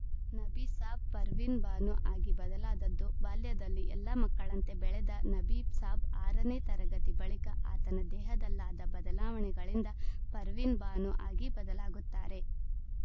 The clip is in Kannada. ನಬಿಸಾಬ್‌ ಪರ್ವಿನ್‌ಬಾನು ಆಗಿ ಬದಲಾದದ್ದು ಬಾಲ್ಯದಲ್ಲಿ ಎಲ್ಲ ಮಕ್ಕಳಂತೆ ಬೆಳೆದ ನಬೀಸಾಬ್‌ ಆರ ನೇ ತರಗತಿ ಬಳಿಕ ಆತನ ದೇಹದಲ್ಲಾದ ಬದಲಾವಣೆಗಳಿಂದ ಪರ್ವಿನ್‌ಬಾನು ಆಗಿ ಬದಲಾಗುತ್ತಾರೆ